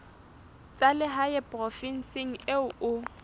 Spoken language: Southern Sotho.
tsa lehae provinseng eo o